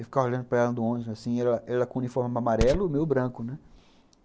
Eu ficava olhando para ela no ônibus, assim, ela com o uniforme amarelo e o meu branco, né?